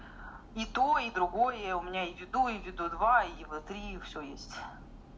и то и другое у меня и виду и виду два и вэ три и всё есть